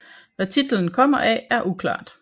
Hvad titlen kommer af er uklart